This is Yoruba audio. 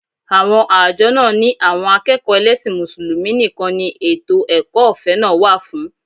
Àwọn àjọ náà ni àwọn akẹ́kọ̀ọ́ ẹlẹ́sìn Mùsùlùmí nìkan ni ètò ẹ̀kọ́ ọ̀fẹ́ náà wà fún